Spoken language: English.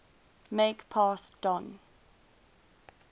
make pass don